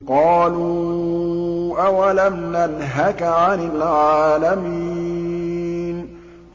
قَالُوا أَوَلَمْ نَنْهَكَ عَنِ الْعَالَمِينَ